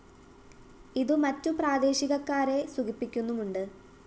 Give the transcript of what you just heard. ഇതു മറ്റു പ്രാദേശികക്കാരെ സുഖിപ്പിക്കുന്നുമുണ്ട്